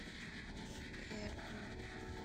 эрбиль